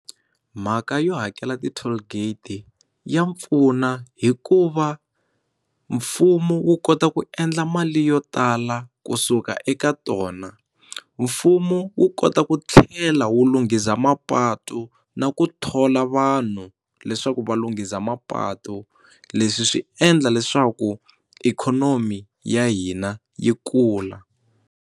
Mhaka yo hakela ti toll gate ya pfuna hikuva mfumo wu kota ku endla mali yo tala kusuka eka tona mfumo wu kota ku tlhela wu lunghisa mapatu na ku thola vanhu leswaku va lunghisa mapatu leswi swi endla leswaku ikhonomi ya hina yi kula.